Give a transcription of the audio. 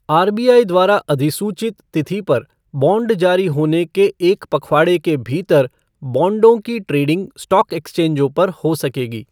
RBI द्वारा अधिसूचित तिथि पर बॉण्ड जारी होने के एक पखवाड़े के भीतर बॉण्डों की ट्रेडिंग स्टॉक एक्सचेंजों पर हो सकेगी।